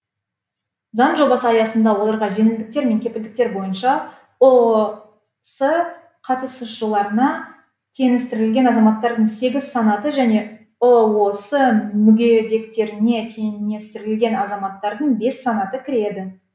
заң жобасы аясында оларға жеңілдіктер мен кепілдіктер бойынша ұос қатысушыларына теңестірілген азаматтардың сегіз санаты және ұос мүгедектеріне теңестірілген азаматтардың бес санаты кіреді